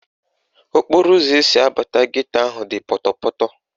Okporoụzọ esi abata geto ahụ dị pọtọpọtọ